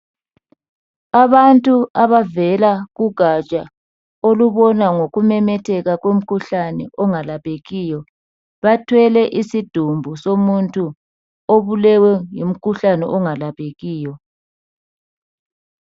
Abantu abavela kugatsha olubona ngokumemetheka kwemkhuhlani engalaphekiyo. Bathwele isidumbu somuntu obulewe ngumkhuhlani ongalaphakiyo.